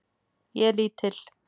Ég er lítil.